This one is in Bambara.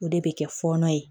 O de bɛ kɛ fɔɔnɔ ye